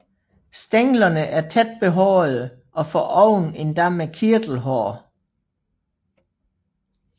Stænglerne er tæt behårede og foroven endda med kirtelhår